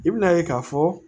I bina ye k'a fɔ